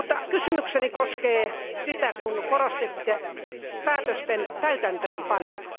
Kysymykseni koskee sitä, kun korostitte päätösten täytäntöönpanoa.